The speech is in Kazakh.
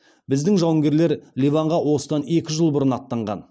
біздің жауынгерлер ливанға осыдан екі жыл бұрын аттанған